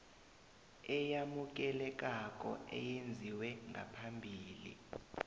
eyamukelekako eyenziwe ngaphambi